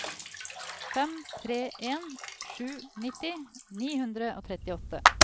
fem tre en sju nitti ni hundre og trettiåtte